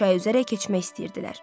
Minqlər çay üzərə keçmək istəyirdilər.